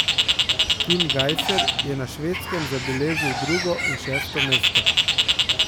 Tim Gajser je na Švedskem zabeležil drugo in šesto mesto.